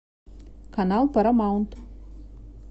канал парамаунт